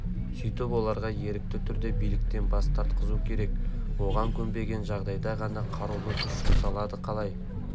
сөйтіп оларға ерікті түрде биліктен бас тартқызу керек оған көнбеген жағдайда ғана қарулы күш жұмсалады қалай